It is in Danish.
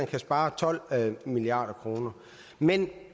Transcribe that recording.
kan spare tolv milliard kroner men det